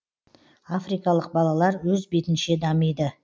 африкалық балалар өз бетінше дамиды